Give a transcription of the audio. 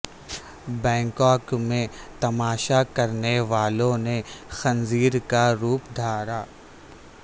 Bangkok میں تماشا کرنے والوں نے خنزیر کا روپ دھارا